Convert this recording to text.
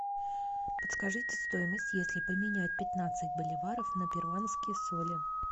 подскажите стоимость если поменять пятнадцать боливаров на перуанские соли